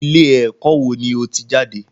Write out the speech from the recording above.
Ilé ẹ̀kọ́ wo ni o ti jáde?